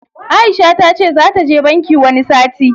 Aisha tace zata je banki wani sati.